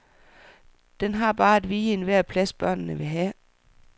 Den har bare at vige enhver plads, børnene vil have.